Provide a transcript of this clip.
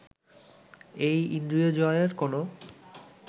এই ইন্দ্রিয়জয়ের কোন